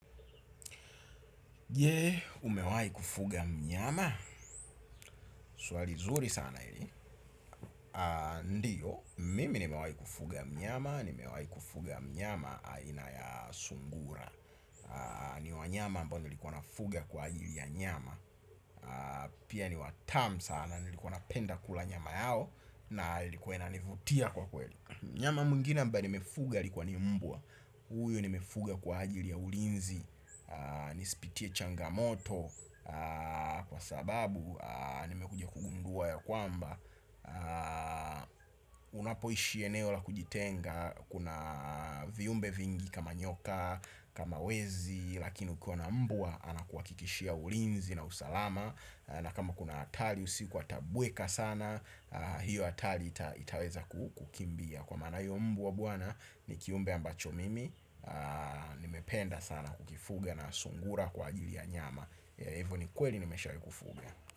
Je, umewahi kufuga mnyama? Swali zuri sana hili. Ndiyo, mimi nimewahi kufuga mnyama, nimewahi kufuga mnyama aina ya sungura. Ni wanyama ambao nilikuwa nafuga kwa ajili ya nyama. Pia ni watam sana nilikuwa napenda kula nyama yao. Na ilikuwa inanivutia kwa kweli. Nyama mwingina ambaye nimefuga ilikuwa ni mbwa. Huyo nimefuga kwa ajili ya ulinzi. Nisipitie changamoto kwa sababu, nimekuja kugundua ya kwamba unapoishi eneo la kujitenga kuna viumbe vingi kama nyoka, kama wezi lakini ukiwa na mbwa anakuhakikishia ulinzi na usalama. Na kama kuna hatari usiku atabweka sana. Hiyo hatari itaweza kukimbia kwa maana hiyo mbwa bwana, ni kiumbe ambacho mimi nimependa sana kukifuga na sungura kwa ajili ya nyama kwa hivo bi kweli nimeshawahi kufuga.